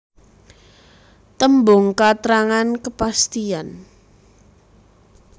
Tembung katrangan kepastian